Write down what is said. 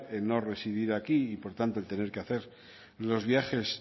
el no residir aquí y por tanto el tener que hacer los viajes